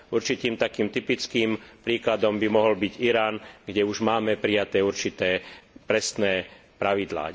Určitým typickým príkladom by mohol byť Irán, kde už máme prijaté určité presné pravidlá.